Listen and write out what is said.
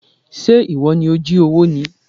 Ṣé ìwọ ni ó jí owó ni?